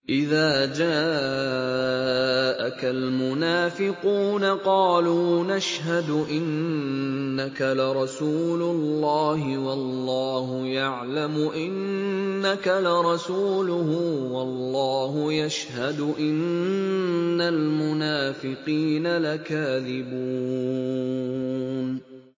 إِذَا جَاءَكَ الْمُنَافِقُونَ قَالُوا نَشْهَدُ إِنَّكَ لَرَسُولُ اللَّهِ ۗ وَاللَّهُ يَعْلَمُ إِنَّكَ لَرَسُولُهُ وَاللَّهُ يَشْهَدُ إِنَّ الْمُنَافِقِينَ لَكَاذِبُونَ